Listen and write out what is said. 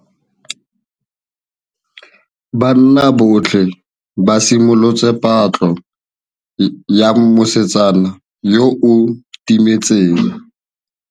Banna botlhê ba simolotse patlô ya mosetsana yo o timetseng.